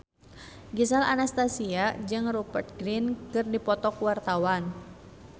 Gisel Anastasia jeung Rupert Grin keur dipoto ku wartawan